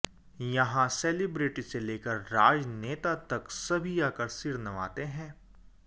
यहां सेलेब्रटी से लेकर राजनेता तक सभी आकर सिर नवाते हैं